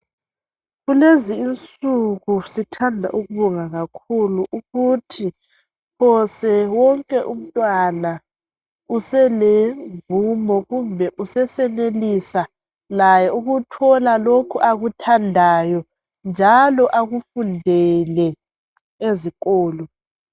Kulezi insiku sithanda ukubonga kakhulu ukuthi phose wonke umntwana uselomvumo kumbe useyenelisa ukuthola lokhu akuthandayo njalo akufundele ezikolo